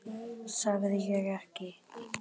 Sagði ég ekki!